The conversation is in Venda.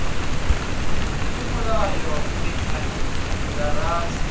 i mulayoni miṅwedzi ya rathi